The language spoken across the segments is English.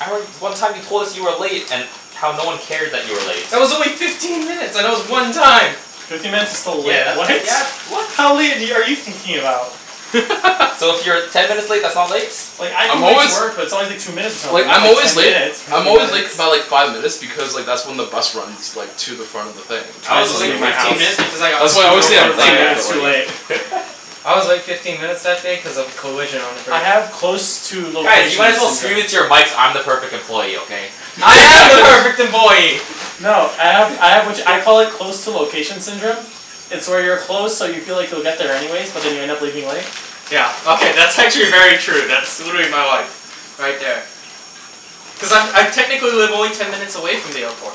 I re- one time you told us you were late and how no one cared that you were late. That was only fifteen minutes, and it was one time. Fifteen minutes is still late, Yeah, that's, right? yeah, that's, what? How late have y- are you thinking about? So, if you're ten minutes late, that's not late? Like, I come I'm late to always work but it's always like two minutes or Like, something. Not I'm like always ten late minutes. I'm Fifteen always late k- minutes. by like five minutes because like, that's when the bus runs like to the front of the thing. I I was To the just late leave my my fifteen house minutes workplace. because I got That's why I screwed always say I over I'm two just leave late, by my but minutes too like late. I was late fifteen minutes that day cuz of a collision on the I bridge. have close to Guys, you location might as well scream into syndrome. your mics, "I'm the perfect employee!" Okay? I am Nice. the perfect employee! No, I have I have which, I call it close to location syndrome. It's where you're close, so you feel like you'll get there anyways, but then you end up leaving late. Yeah, okay, that's actually very true. That's, would be my life. Right there. Cuz I'm I technically live only ten minutes away from the airport.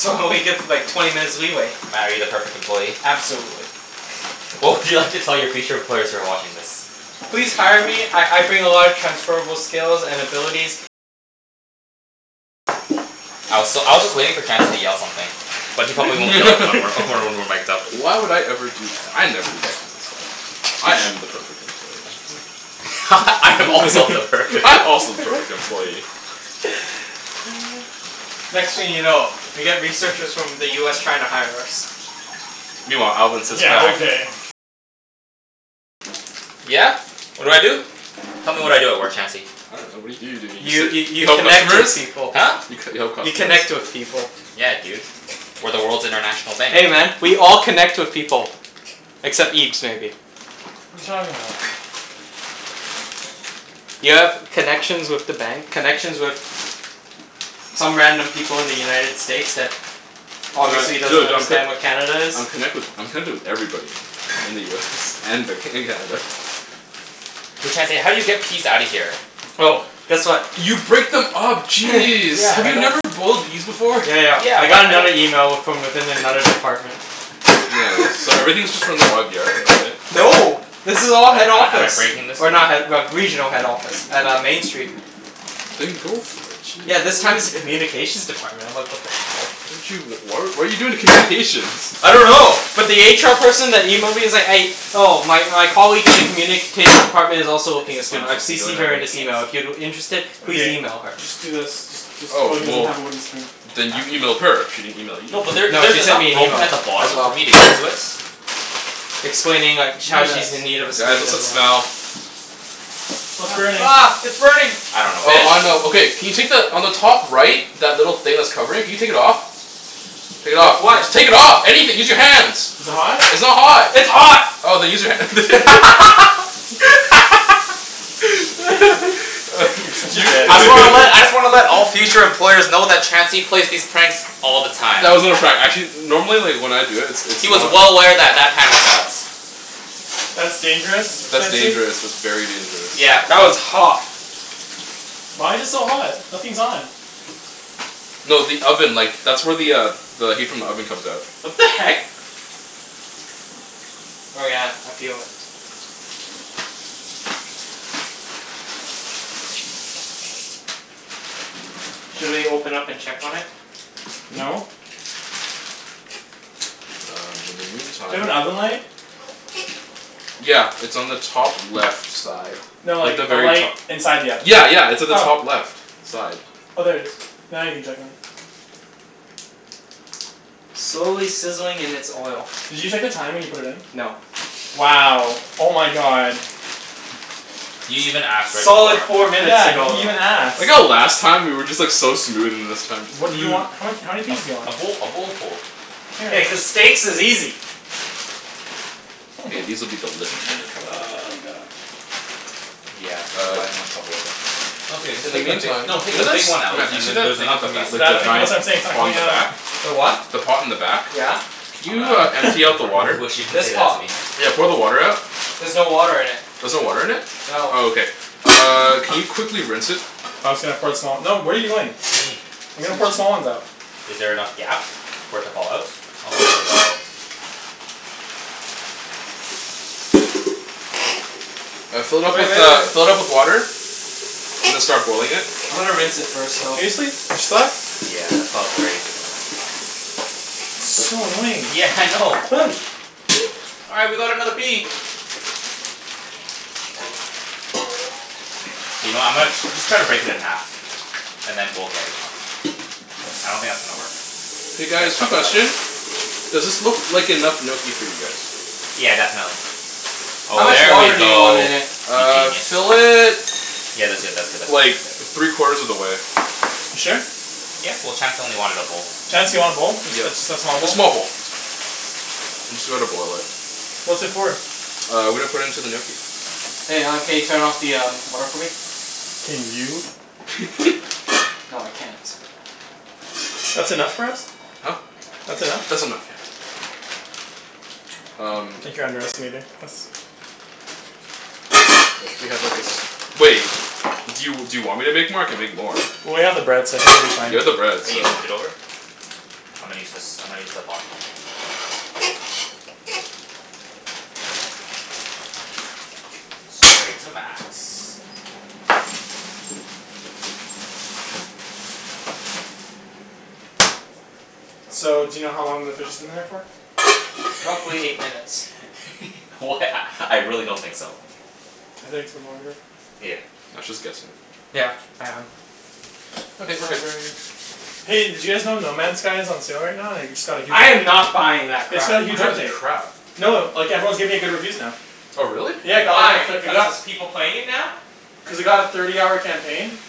So, I only give like, twenty minutes leeway. Mat, are you the perfect employee? Absolutely. What would you like to tell your future employers who are watching this? Please hire me. I I bring a lot of transferable skills and abilities. I was s- I was just waiting for Chancey to yell something. But he probably won't yell it when we're when we're mic'd up. Why would I ever do that? I never do that kind of stuff. I am the perfect employee. I am also the perfect I'm also the perfect employee. Next thing you know, we get researchers from the US trying to hire us. Meanwhile, Alvin sits back Yeah? What do I do? Tell me what I do at work, Chancey? I dunno. What do you do? Don't you You just sit y- You you help connect customers? with people. Huh? You c- you help You customers? connect with people. Yeah, dude. We're the world's international bank. Hey man, we all connect with people. Except Okay. Ibs, maybe. You talking about? You have connections with the bank, connections with some random people in the United States that obviously Tri- doesn't true, d- I'm c- understand what Canada is. I'm connected wi- I'm connected with everybody in the US and Vanco- in Canada. Hey Chancey, how do you get peas outta here? Oh, guess what? You break them up. Jeez! Yeah, Have but I you don't never boiled peas before? Yeah, yeah. Yeah, I but got I don't another email w- from within another department. Nice. So everything's just from the YVR though, right? No. This is But all head am I am I office. breaking this? Or not head but regional head office. At uh, Main Street. Then go for it. Yeah, this Jeez. time it's a communications department. I'm like, what the hell? How did you, w- why what are you doing with communications? I don't know. But the HR person that emailed me is like, a- Oh, my my colleague in the communications department is Is also looking a this what I'm student. I've supposed to be doing CCed by her in this breaking it? email. If you're interested, please Okay. email her. Just do this. Just just oh, Oh, he doesn't well have a wooden spoon. then Huh? you emailed her? She didn't email you. No, but there No, she there's sent enough me an broken email. at the bottom As for well. me to get to it. Explaining like, sh- Do how she's this. in need of a Guys, student what's as that well. smell? What's burning? Ah, ah, it's burning! I The dunno what Oh, I fish? know. it is. Okay can you take the, on the top right that little thing that's covering? Can you take it off? Take it With off. what? Just take it off! Anything! Use your hands! Is Is it it hot? hot? It's not hot! It's hot! Oh, then use your hand. You're such a You dick. I just wanna let I just wanna let all future employers know that Chancey plays these pranks all the time. That was not a prank. Actually normally like, when I do it it's He was not well aware that that pan was hot. That's dangerous, That's Chancey. dangerous. That's very dangerous. Yeah, That was but hot. Why's it so hot? Nothing's on. No, the oven. Like, that's where the uh the heat from the oven comes out. What the heck? Oh yeah, I feel it. Should we open up and check on it? Hmm? No. Uh, in the Do you have an meantime oven light? Yeah, it's on the top left side. No, Like like the a very light to- inside the oven. Yeah, yeah. It's on the top Oh. left side. Oh, there it is. Now you can check on it. Slowly sizzling in its oil. Did you check the time when you put it in? No. Wow! Oh my god. You even ask, right before. Solid four minutes Yeah, he ago, didn't though. even I like ask. how last time we were just like so smooth, and this time What do you want? What, how many A pieces do you a want? bowl a bowlful. Yeah, cuz steaks is easy. K, these will be delicious when they come out. Oh my god. Yeah, this is Uh why I had so much trouble with this. No, it's okay. Just In the take the bi- meantime no, take you know the the big s- one out, Mat, do you and see then that there's thing enough at the for me to ba- Tha- te- scoop like out the of that's the giant what bottom. I'm saying. It's not pot on coming the out. back? The what? The pot in the back? Yeah. Can I'm you uh gonna empty out I'm the gonna really water? wish you didn't This say that to pot? me. Yeah, pour the water out. There's no water in it. There's no water in it? No. Oh, okay. Uh, can you quickly rinse it? I was gonna pour some out. No, what are you doing? What do you mean? I was gonna put Excuse. the small ones out. Is there enough gap for it to fall out? Oh, there we go. Uh, fill it Wait, up with wait, uh, wait. fill it up with water. And then start boiling it. I'm gonna rinse it first, though. Seriously? They're stuck? Yeah, that's why I was worried So annoying. Yeah, I know. All right, we got another pea! You know, I'm gonna just try to break it in half. And then we'll get it out. I don't think that's gonna work. K Big guys, quick chunk of ice. question. Does this look like enough gnocchi for you guys? Yeah, definitely. How Oh, much there we water do you want go. in it? You Uh, genius. fill it Yeah, that's good, that's good, that's good, like, that's good. three quarters of the way. You sure? Yeah. Well, Chancey only wanted a bowl. Chancey wanted a bowl? Ju- ju- Yeah, just a small a bowl? small bowl. I'm just gonna boil it. What's it for? Uh, we're gonna put in to the gnocchi. Hey, uh, can you turn off the um water for me? Can you? No, I can't. That's enough for us? Huh? That's enough? That's enough. I Um think you're underestimating us. I wish we had like, a s- Wait. Do you do you want me to make more? I can make more. Well, we have the bread so I think we'll be fine. You have the bread, Oh, so you moved it over? I'm gonna use this, I'm gonna use the bottom one. Straight to max. So, do you know how long the fish has been in there for? Roughly eight minutes. Wh- a I really don't think so. I think it's been longer. Yeah. Mat's just guessing. Yeah, I am. Okay, It's we're not good. very Hey, did you guys know No Man Skies is on sale right now, and i- it just got a huge I am update? not buying that It's crap. got a I huge heard it's update. crap. No, like everyone's giving it good reviews now. Oh, really? W- Yeah, why? Because there's people playing it now? Cuz it got a thirty hour campaign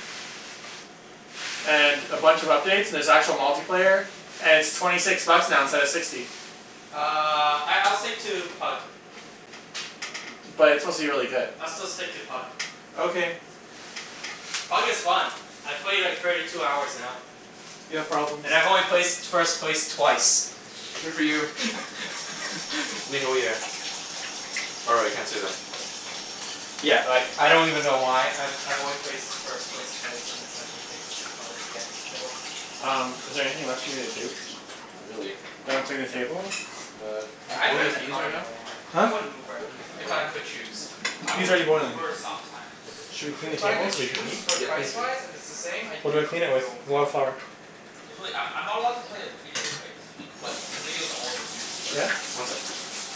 and a bunch of updates, and there's actual multiplayer. And it's twenty six bucks now instead of sixty. Uh, I I'll stick to Pug. But it's supposed to be really good. I'll still stick to Pug. Okay. Pug is fun. I played like, thirty two hours now. You have problems. And I've only placed first place twice. Good for you. Or, I can't say that. Yeah, like, I don't even know why. I've I've only placed first place twice and it's like, ridiculously hard to get any kills. Um, is there anything left for me to do? Not really. Can I clean the table? Uh, Yeah, you I'd boiling rent the a peas car right in now? LA, man. I Huh? wouldn't Uber. Boiling the If peas if right I could now? choose. I Pea's would already boiling. Uber sometimes. Okay, Should we clean the If I table could so we can choose, eat? for Yeah, finish it. price-wise, if it's the same? I'd What do I do clean it your with? own car. Wildflower. There's really, I'm I'm not allowed to play a video, right? No. But the video's all over YouTube Yeah? already. One sec, please.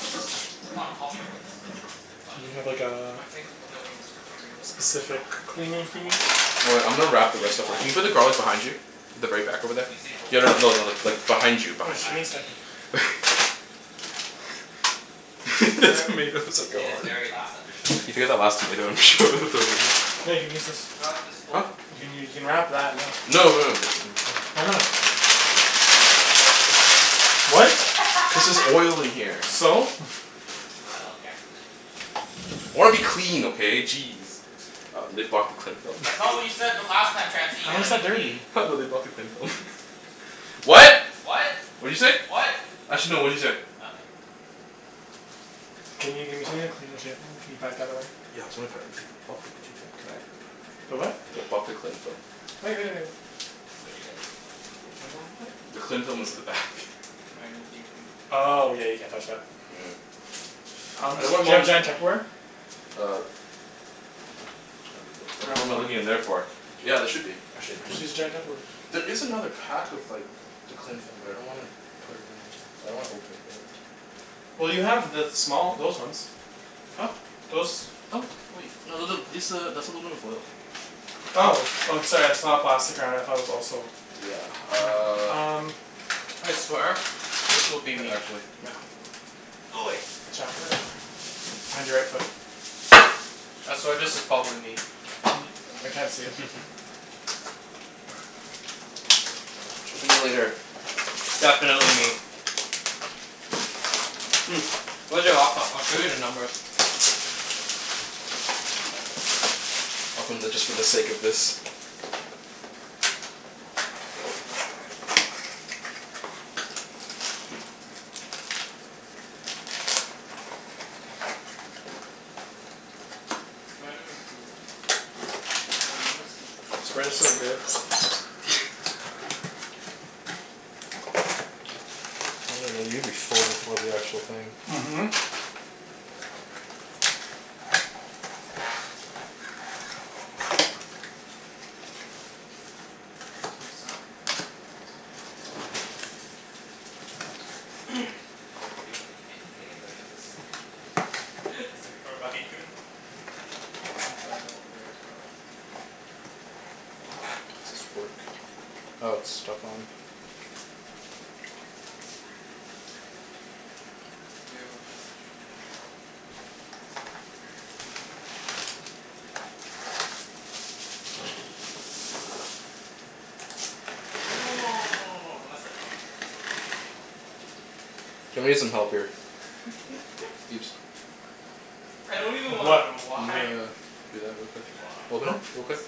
It's not copyright, is it? If it's on Do you YouTube? have like, a I think w- no YouTube, period. specific Oh, damn it. cleaning I wanted thingie? to watch Oh wait, the, I I'm gonna wanted to wrap the rest of thi- can rewatch you put the the race garlic today. behind you? The very back over there. Usain Bolt Yeah, no lost. no no, like, behind you In behind Just give you. me fact a he didn't second. even finish the race. He cramped up. The Re- tomatoes are In his gone. very last official race. You last tomato and throw it in there? Here, you can use this. I like this Huh? pole. You can you can wrap that in Public this No, transit. no Why not? Oh, public trust not public transit. Gas station sushi. What? Cuz there's oil in here. So? I love gas station sushi. I wanna be clean, okay? Jeez. Uh, they blocked the cling film? That's not what you said b- last time, Chancey. You How wanna is be that clean. dirty? Ha, no, they blocked the cling film. Messy person. What? What? What'd you say? Actually no, what'd you say? Nothing. Can you give me something to clean the table. Can you pack that away? The what? They blocked the cling film. Wait, wait, wait. What'd you get? What do you want me to do? The cling What'd film you is get at from the back. cocoa? Mango green tea. Oh, yeah, you can't touch that. Mm. Um I do don't want you have mom giant Tupperware? Uh Ap- ab- what am I looking in there for? Yeah, there should be, actually in Just use a here. giant Tupperware. There is another pack of like the cling film, but I don't want to put it in. I don't wanna open it yet. Well, you have the small, those ones. Huh? Those. Oh, wait. No, th- th- this a, that's aluminum foil. Oh. Oh, sorry. I just saw the plastic around it and thought it was also Yeah, Hmm, hmm, uh um I swear this will be Here me. actually. Mat, hold on Go away. Watch out. Behind your right foot. I swear this is pot with me. I can't see it, so Talk to me later. Definitely me. Mm, where's your laptop? I'll show you the numbers. It's right there. Open the, just for the sake of this. I'll take your wallet. Thank you very much. Might have improved. Cuz the numbers keep This frigging bread is so changing good. every day. you'll be full before the actual thing. Mhm. Isn't this copyright? Oh, that's your password. There's no sound from it so I doubt it's copyright. Is there a video? Any e- can they get footage of this? Is it gonna you? Internal affairs, bro. Does this work? Oh, it's stuck on. You have a message from Janelle. Yeah. You can click it. She cute? It's literally us just saying, "What?" to each other. Can you say, "What?" to her? No, no no no no no no no, don't mess it up, don't mess it up. Just say, "What?" Just say normal, "What?" K, thanks. Ja- I'm gonna need some help here. Ibs? I don't even wanna What? know Can you why. uh, do that real It's quick? been going on for Open it Hmm? like, two real months. quick.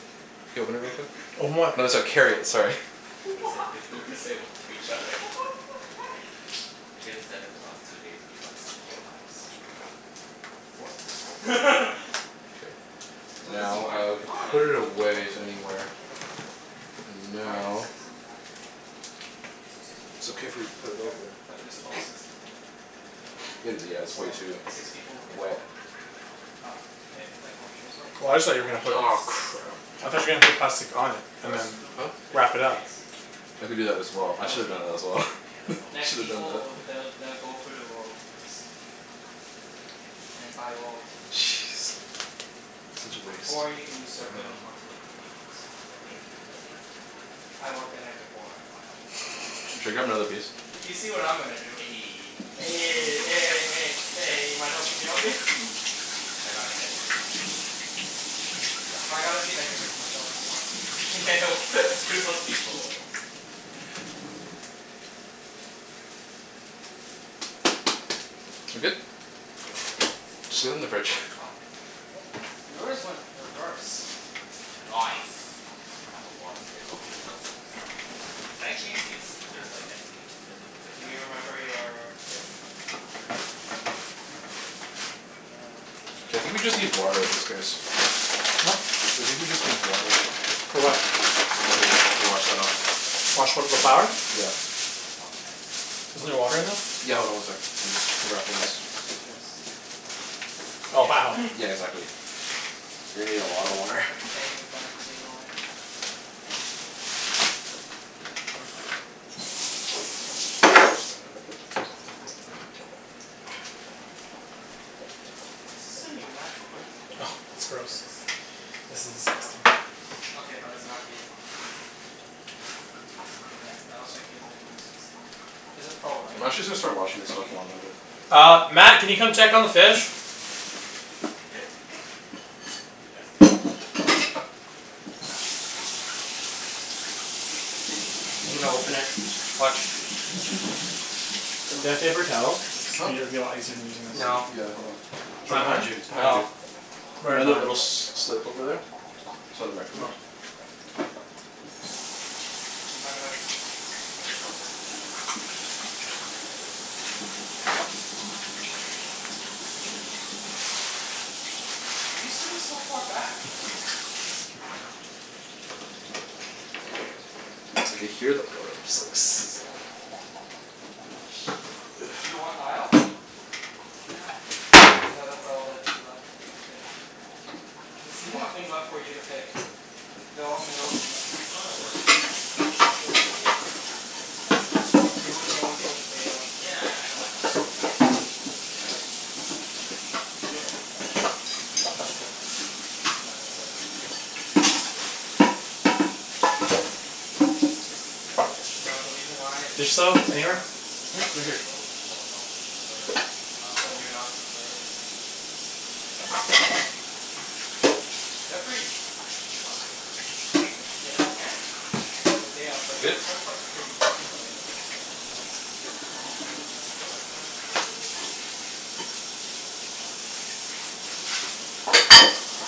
Can you open it real quick? Open what? No, I so- don't even carry talk it, to her. sorry. We Why? say we say, "What?" to each What other. the heck? She hasn't said it for the last two days because she had finals. What? K. So this is Now, my uh, flight. we can Ah, it put it improved a little. away s- anywhere. Zero? And Minus now six in the back. Oh. So six people b- It's okay if we overbooked? put it Yep. over But there's twelve seats at the front. Available? It is, Yep. yeah, it's way So, too six people will get wet. bumped. Up, ah Up. If everyone shows up. Well, I just thought you were gonna put Nice. Aw, it crap. How I did thought they you were gonna determine put that? plastic on it and First, then who puts Huh? bid wrap it up. upgrades. I could do Okay, that as so well. yeah I Those should have done obv- that people. as well. So, yeah, that's probably Next Should have done people that. w- they'll they'll go through the loyalty list. Mm, so not me. And by loyalty. Jeez. Such a waste. Or you can usurp them and talk to the gate agents. Eh, you'll be like, "Any any upgrades" I work the night before I fly out. Should I grab another piece? You'll be You see like, what I'm "Eh" gonna do. Eh Eh, Eh, any eh, eh, chance, eh, any you mind helping chance? me out here? Nah, if I got a seat I'd give it to my dad. If I got a seat I'd give it to myself cuz fuck these free. Yeah, well, screw those people. Za- good? There's sixty six Just sit it available in for the me? fridge. The fuck? Yours went reverse. No ice. I'm gonna have a lot of space. I hope there's no one sitting beside me. Can I change seats if there's like empty, if th- if there's Do empty you remember your thing? Yeah, it's on my Gmail. Uh, here, right? I think Just we yeah, just just search need Air water at this Canada. case. Huh? I think we just need water. For what? Ah s- I To think it w- should be the to wash second that one. off. Wash what? The Yeah. Why do flour? you have Yeah. two? Cuz I bought my dad's. Oh, Isn't there you bought water 'em in this? separately? Yeah, hold Yeah. on one sec. I'm just wrapping this. Just make sure this is you. Oh, Yeah, I changed my wow. name. Yeah, I changed exactly. my name to my middle name. You're gonna need a lot of water. I can't even find your name on it. It was there. You scrolled right past it. Oh, okay. Is this the new MacBook, or the old one? Oh, it's It's the gross. second newest. This is disgusting. Okay, but it's not the It's not the USBC one. Yeah, I was thinking is it a USBC one. Is a Pro, right? I'm actually just Yeah. gonna start washing this Thirteen stuff while inch? I'm at it. Yeah. Uh, Mat, can you come check on the fish? Yeah, see you later. Yep. Okay. I'm gonna open it. Watch. Do you have Ooh. paper towel? Huh? Be, it'd be a lot easier than using this. No. Yeah, hold on. It's It's right not behind you. done? It's behind you. No. Right in the little s- slip over there. Beside the microwave. Oh. Do you mind if I just unplug this Yeah, sure. for a bit? Okay. Just charging my charger. My brother stole my actual charger. Why are you sitting so far back? I dunno, dude. I just picked it. I can hear the oil just like sizzling. Sh- you want aisle? I don't mind. No, that's all that's left to pick. There's nothing left for you to pick. They're all middle seats. No no, but like, if there's a s- if there's like a whole row open in the back, can I just take it? You wouldn't know until the day of. Yeah, I I know, I know, I know. I'm just saying like if it's completely empty? You could. Keep scrolling down. No, that's Oh, it. wait, that's it? Oh wait, it's pretty booked over, it's pretty booked, then. Hey, they said there's sixty six seats available? No, the reason why it's There's sixty soap six, the anywhere? front f- six Hmm? or Right here. seven rows is blocked off for preferred. So, you're Oh. not preferred. But those seats aren't free? They're free. Can I move up if there's no one sitting Yes, you there? can. All right. The day of. But You your good? return flight's pretty Oh wait, no, that's my return flight. Uh, your return flight I think I'm leaving, can we can you double check if I'm leaving on the sixth?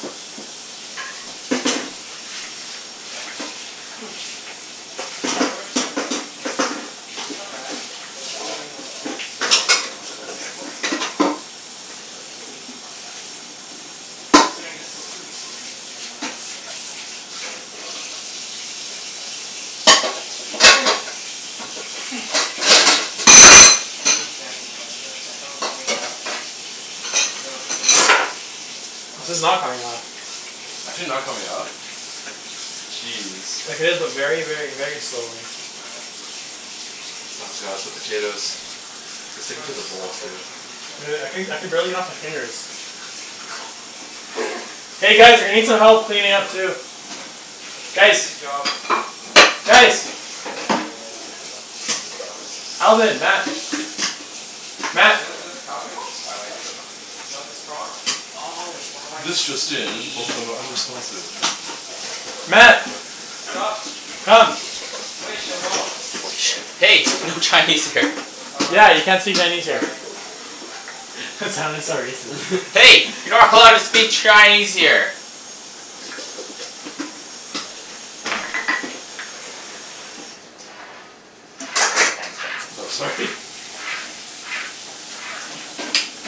Pretty sure I'm leaving on the sixth. Yeah. Okay. Your return flight's not bad. But considering we're two, still like a whole month away almost? Yeah, but people usually buy, actually, nah. Considering this is two weeks away and this is a month away, that's a lot worse. Damn, I can't wait to move up with my dad. Be like "Yeah, wanna go up?" And then there's me and Chancey's flight. It's like the hell is going on? For your return flight? No, the way there. Like, This what is not the f- coming off. Is Overbooked it not aff. coming off? Jeez. Like, it is, but very, very, very slowly. All right, let's see. Oh god, the potatoes. They're sticking Time to to the bowl, stalk too. everyone who's used my You know what? I codes. couldn- I could barely get it off my fingers. Y- oh, you can do that? Yeah. Hey guys, we need some help cleaning up, too. That's Ah Guys! Chancey's job. That's Chancey Guys! Yeah, yeah. Who flew to Calgary? Alvin. For Mat. chasing summers? Wait, Mat! the- there's a Calgary one? YYZ is Calgary, isn't it? No, that's Toronto. Oh, This just in. YYC, not YYZ. Mat! Sup? Come! Hey! No Chinese here. Oh, right. Yeah, you can't say Chinese here. Sorry. That sounded so racist. Hey! You're not allowed to speak Chinese here! Thanks, No, Chancey. sorry.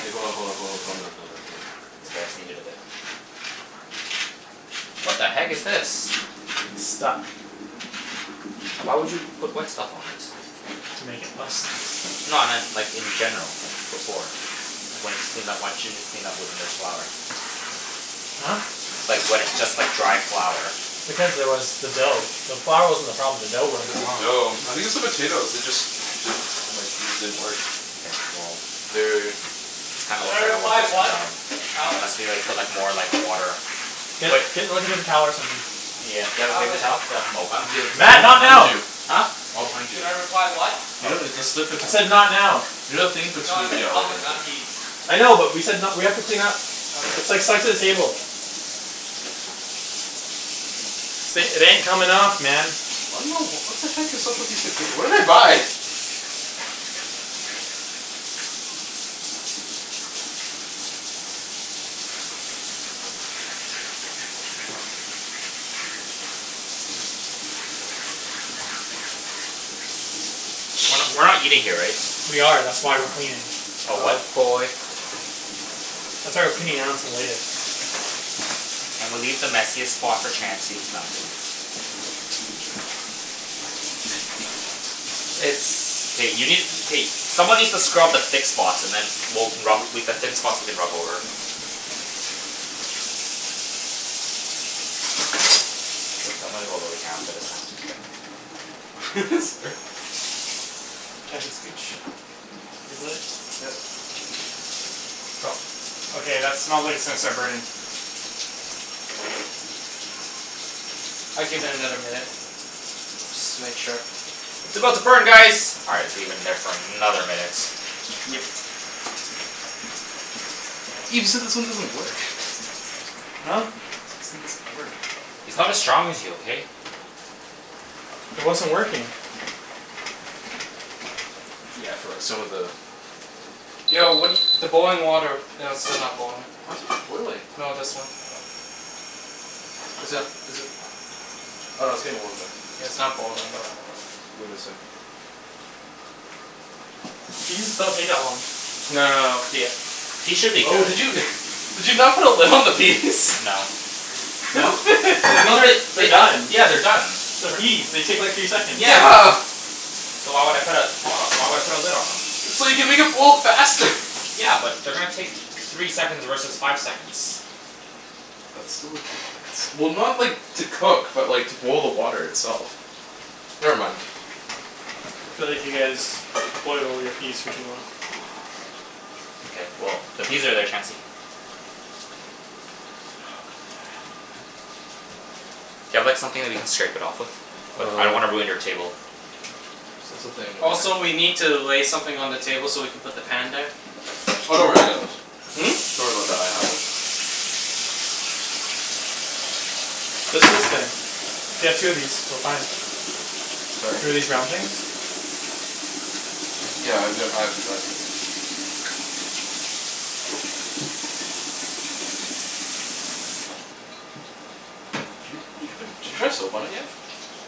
K, hold on, hold on, hold on, calm down, calm down, calm down. It's okay, I just need it a bit. What the heck is this? It's stuck. Why would you put wet stuff on it? To make it less stuck. No, I meant like, in general. Like, before. Like, when you just clean up, why didn't you just clean up with n- flour? Huh? Like, when it's just like dry flour. Because there was the dough. The flour wasn't the problem. The dough wouldn't It's come the off. dough. I think it's the potatoes. They just didn't, like, these didn't work. Okay, well. They're already in. This kinda Should I looks like a one reply, person "What?" job. Alvin? Unless we like, put like, more like, water Get Wait get like a paper towel or something. Yeah, do you have a paper Alvin? towel? Yeah, the Mat, towel's not behind now! you. Huh? All behind Should you. I reply, "What?" You know, Oh. it's the slip it I said not now. You know the thing in No, I between, yeah, said you're Alvin, right not there. Ibs. I know, but we said n- we have to clean up. Okay. It's like set the table. Uh Th- it ain't coming off, man. I don't know. What the heck is up with these potato? What did I buy? We're not Shee- we're not eating here, right? We are. That's Yeah, you why we're are. cleaning. Oh, what? Oh boy. That's why we're cleaning now instead of later. Can we leave the messiest spot for Chancey? No, I'm kidding. It's K, you need, k someone needs to scrub the thick spots and then we'll can rub, we, the thin spots we can rub over. K, I'm gonna go really for this one. Sorry. Chancey, scooch your butt. Yeah. No. Okay, that smells like it's gonna start burning. I'd give it another minute. Just to make sure. It's about to burn guys! All right, let's leave it in there for another minute. Yep. Ibs, you said this one doesn't work. Huh? Said this thing doesn't work. He's not as strong as you, okay? It wasn't working. Yeah, for like, some of the Yo, what do y- the boiling water it is still not boiling. What? Boiling. No, this one. Is it is it Oh no, it's getting warm, though. Yeah, it's not boiling though. Give it a sec. Peas don't take that long. No no no, the Peas should be Oh, did good. you did you not put a lid on the peas? No. The, I thought that they're they uh, done. yeah, they're done. They're They're tr- peas. They take like three seconds. Yeah. Yeah. So why would I put a pot o- why would I put a lid on them? So you can make it boil faster. Yeah, but they're gonna take three seconds versus five seconds. That's still a difference. Well, not like, to cook, but like to boil the water itself. Never mind. Feel like you guys boil all your peas for too long. K, well, the peas are there, Chancey. Oh god, help, man. Do you have like, something that you can scrape it off with? But I don't wanna Uh ruin your table. See, that's the thing. Also, We can't we need to lay something on the table so we can put the pan there. Oh, don't worry. I True. got those. Hmm? Don't worry about that. I have it. There's this thing. If you have two of these, we're fine. Sorry? Two of these round things? Yeah, I re- I've Did you did you put, did you try soap on it yet?